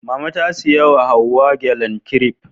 Mama ta saya wa Hauwa gyalen kiref